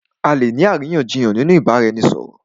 À lè ní àríyànjiyàn nínú ìbáraẹnisọ̀rọ̀.